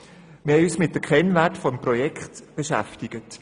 Wir haben uns mit den Kennwerten des Projekts beschäftigt.